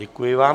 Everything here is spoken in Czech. Děkuji vám.